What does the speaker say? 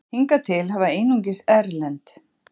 Hingað til hafa einungis erlend